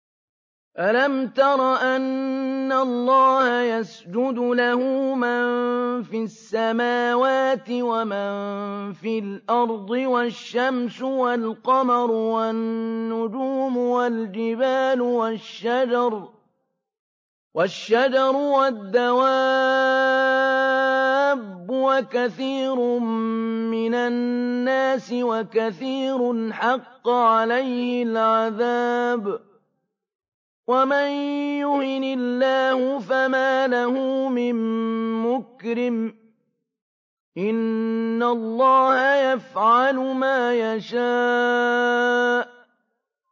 أَلَمْ تَرَ أَنَّ اللَّهَ يَسْجُدُ لَهُ مَن فِي السَّمَاوَاتِ وَمَن فِي الْأَرْضِ وَالشَّمْسُ وَالْقَمَرُ وَالنُّجُومُ وَالْجِبَالُ وَالشَّجَرُ وَالدَّوَابُّ وَكَثِيرٌ مِّنَ النَّاسِ ۖ وَكَثِيرٌ حَقَّ عَلَيْهِ الْعَذَابُ ۗ وَمَن يُهِنِ اللَّهُ فَمَا لَهُ مِن مُّكْرِمٍ ۚ إِنَّ اللَّهَ يَفْعَلُ مَا يَشَاءُ ۩